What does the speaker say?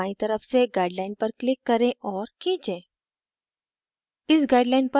canvas पर बायीं तरफ से guideline पर click करें और खींचे